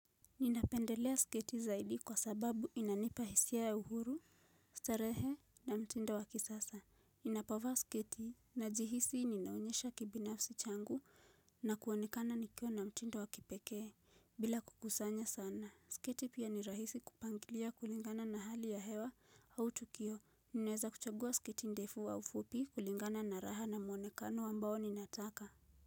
Ninapendelea sketi zaidi kwa sababu inanipa hisia ya uhuru, starehe na mtindo wakisasa. Ninapava sketi na jihisi ninaonyesha kibinafsi changu na kuonekana nikio na mtindo wakipekee bila kukusanya sana. Sketi pia ni rahisi kupangilia kulingana na hali ya hewa au tukio. Ninaweza kuchagua sketi ndefu au fupi kulingana na raha na muonekano wambao ninataka.